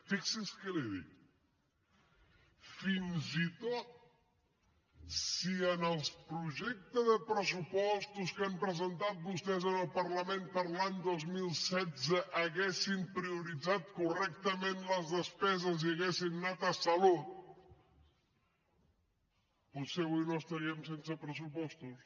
fixi’s què li dic fins i tot si en el projecte de pressupostos que han presentat vostès al parlament per a l’any dos mil setze haguessin prioritzat correctament les despeses i haguessin anat a salut potser avui no estaríem sense pressupostos